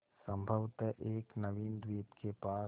संभवत एक नवीन द्वीप के पास